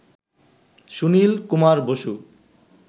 Sunil Kumar Basu